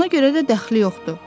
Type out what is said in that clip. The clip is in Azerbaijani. Ona görə də dəxli yoxdur.